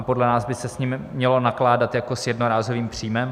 A podle nás by se s nimi mělo nakládat jako s jednorázovým příjmem.